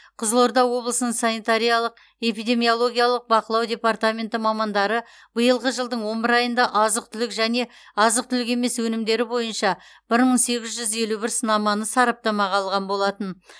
қызылорда облысының санитариялық эпидемиологиялық бақылау департаменті мамандары биылғы жылдың он бір айында азық түлік және азық түлік емес өнімдері бойынша бір мың сегіз жүз елу бір сынаманы сараптамаға алған болатын